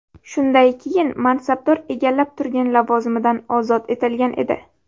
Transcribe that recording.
Shunday keyin mansabdor egallab turgan lavozimidan ozod etilgan edi .